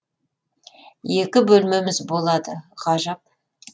екі бөлмеміз болады ғажап